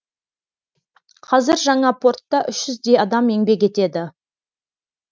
қазір жаңа портта үш жүздей адам еңбек етеді